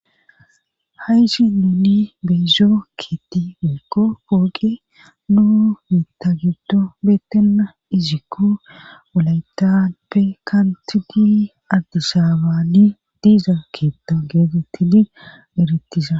Haysi nuni beezo kietti fiekko pooqi nu mita gibdo beettenna izikko wulaytappe kanti gi addisaabani diiza keetta geedettidi erettisa